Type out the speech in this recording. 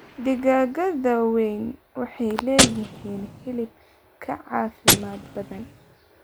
Digaagga da'da weyn waxay leeyihiin hilib ka caafimaad badan.